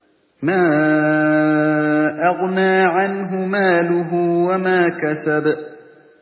مَا أَغْنَىٰ عَنْهُ مَالُهُ وَمَا كَسَبَ